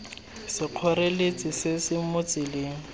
sekgoreletsi se se mo tseleng